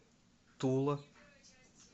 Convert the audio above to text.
тула